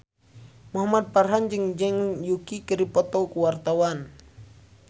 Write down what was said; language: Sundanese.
Muhamad Farhan jeung Zhang Yuqi keur dipoto ku wartawan